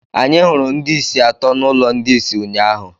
Anyị hụrụ ndị isi atọ n'ụlọ ndị isi ụnyaahụ.